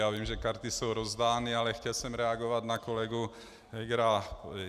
Já vím, že karty jsou rozdány, ale chtěl jsem reagovat na kolegu Hegera.